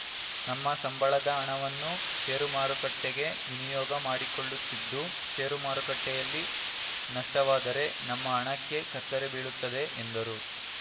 ನಮ್ಮ ಸಂಬಳದ ಹಣವನ್ನು ಷೇರು ಮಾರುಕಟ್ಟೆಗೆ ವಿನಿಯೋಗ ಮಾಡಿಕೊಳ್ಳುತ್ತಿದ್ದು ಷೇರು ಮಾರುಕಟ್ಟೆಯಲ್ಲಿ ನಷ್ಟವಾದರೆ ನಮ್ಮ ಹಣಕ್ಕೆ ಕತ್ತರಿ ಬೀಳುತ್ತದೆ ಎಂದರು